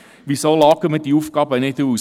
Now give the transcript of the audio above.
Wieso lagern wir diese Aufgaben nicht aus?